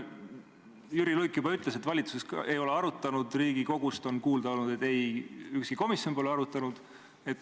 Jüri Luik juba ütles, et valitsus ei ole seda arutanud, Riigikogust on kuulda olnud, et ükski komisjon pole ka arutanud.